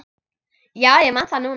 Já, ég man það núna.